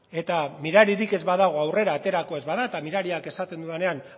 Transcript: eta miraririk ez badago aurrera aterako ez bada eta mirariak esaten dudanean